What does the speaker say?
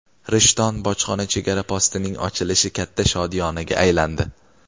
"Rishton" bojxona chegara postining ochilishi katta shodiyonaga aylandi.